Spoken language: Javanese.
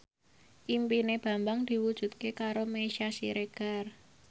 impine Bambang diwujudke karo Meisya Siregar